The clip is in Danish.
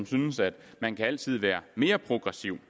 synes at man altid kan være mere progressiv